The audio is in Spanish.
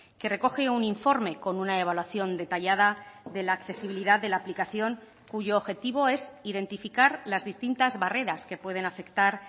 que recoge un informe con una evaluación detallada de la accesibilidad de la aplicación cuyo objetivo es identificar las distintas barreras que pueden afectar